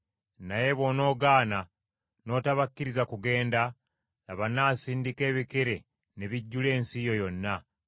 Naye bw’onoogaana n’otabakkiriza kugenda, laba, nnaasindika ebikere ne bijjula ensi yo yonna.